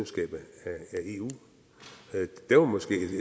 eu